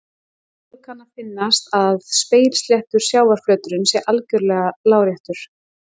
Okkur kann að finnast að spegilsléttur sjávarflöturinn sé algjörlega láréttur.